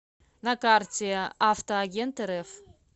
на карте авто агентрф